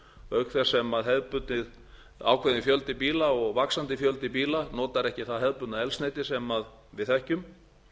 þess sem hefðbundinn ákveðinn fjöldi bíla og vaxandi fjöldi bíla notar ekki það hefðbundna eldsneyti sem við þekkjum